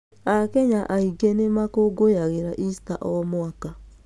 Akenya aingĩ nĩ makũngũyagĩra ista o mwaka.